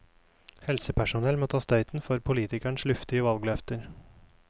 Helsepersonell må ta støyten for politikerens luftige valgløfter.